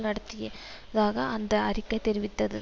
நடத்திய தாக அந்த அறிக்கை தெரிவித்தது